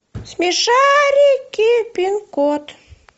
смешарики пин код